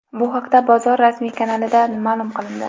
Bu haqda bozor rasmiy kanalida ma’lum qilindi .